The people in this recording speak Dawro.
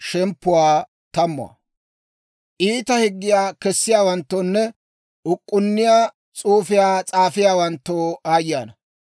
Iita higgiyaa kessiyaawanttoonne uk'k'unniyaa s'uufiyaa s'aafiyaawanttoo aayye ana!